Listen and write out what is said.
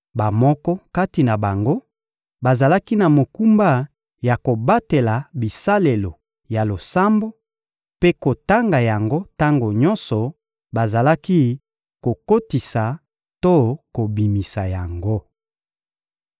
Bamoko kati na bango bazalaki na mokumba ya kobatela bisalelo ya losambo mpe kotanga yango tango nyonso bazalaki kokotisa to kobimisa yango.